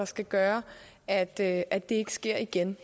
skal gøre at det at det ikke sker igen